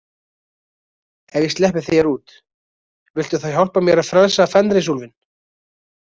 Ef ég sleppi þér út, viltu þá hjálpa mér að frelsa Fenrisúlfinn?